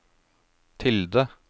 tilde